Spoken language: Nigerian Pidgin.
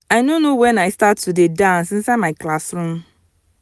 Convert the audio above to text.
i no know wen i start to dey dance inside my classroom